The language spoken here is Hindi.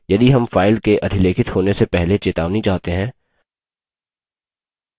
यदि हम file के अधिलेखित होने से पहले चेतावनी चाहते हैं